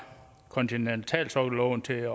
kontinentalsokkelloven til